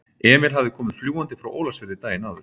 Emil hafði komið fljúgandi frá Ólafsfirði daginn áður.